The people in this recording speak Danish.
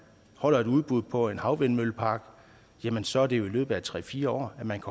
holder et udbud på en havvindmøllepark så er det jo i løbet af en tre fire år at man